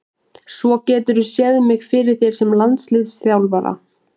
Svo geturðu séð mig fyrir þér sem landsliðsþjálfara?